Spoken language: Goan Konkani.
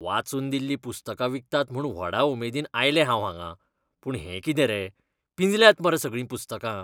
वाचून दिल्लीं पुस्तकां विकतात म्हूण व्हडा उमेदीन आयलें हांव हांगां. पूण हें कितें रे, पिंजल्यांत मरे सगळीं पुस्तकां.